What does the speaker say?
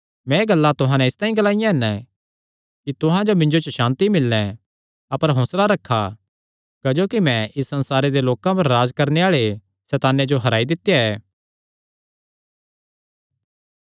मैं एह़ गल्लां तुहां नैं इसतांई ग्लाईयां हन कि तुहां जो मिन्जो च सांति मिल्ले अपर हौंसला रखा क्जोकि मैं इस संसारे दे लोकां पर राज्ज करणे आल़े सैताने जो हराई दित्या ऐ